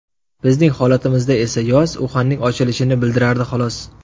Bizning holatimizda esa yoz Uxanning ochilishini bildirardi, xolos.